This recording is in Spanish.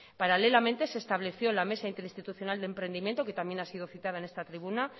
paralelamente se estableció la mesa interinstitucional de emprendimiento que también ha sido citada en esta tribuna